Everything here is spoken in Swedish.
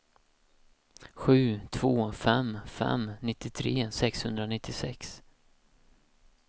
sju två fem fem nittiotre sexhundranittiosex